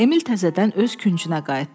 Emil təzədən öz küncünə qayıtdı.